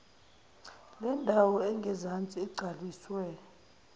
lendawo engezansi igcwaliswe